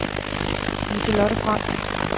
Lise-Lotte Frank